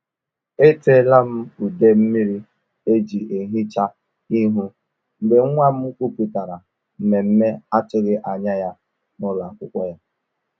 E ṭeela m ude mmiri eji ehicha ihu mgbe nwa m kwupụtara mmemme atụghị anya ya n’ụlọ akwụkwọ ya.”